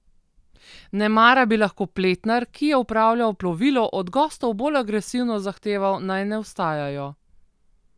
Nemara bi lahko pletnar, ki je upravljal plovilo, od gostov bolj agresivno zahteval, naj ne vstajajo.